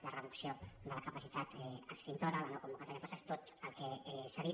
la reducció de la capacitat extintora la no convocatòria de places tot el que s’ha dit